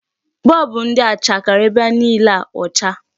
Bulb ndị a chakere ebe niile ọcha.